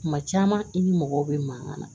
Kuma caman i ni mɔgɔw bɛ mankan na